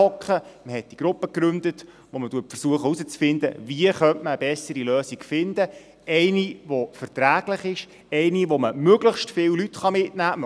Man gründete die Gruppe, mit der man herauszufinden versucht, wie man eine bessere Lösung finden könnte, eine die verträglich ist, eine mit der man möglichst viele Leute mitnehmen kann.